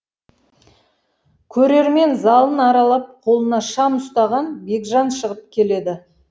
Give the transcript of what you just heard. көрермен залын аралап қолына шам ұстаған бекжан шығып келеді